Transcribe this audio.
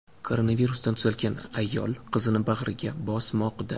Koronavirusdan tuzalgan ayol qizini bag‘riga bosmoqda.